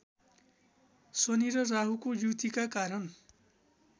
शनि र राहुको युतिका कारण